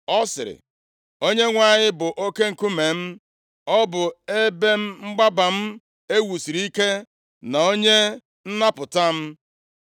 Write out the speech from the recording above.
Ọ sịrị: “ Onyenwe anyị bụ oke nkume m. Ọ bụ ebe mgbaba m e wusiri ike, na onye nnapụta m.